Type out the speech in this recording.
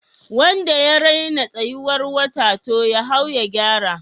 Wanda ya raina tsayuwar wata, to ya hau ya gyara